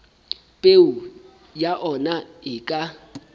peo ya ona e ka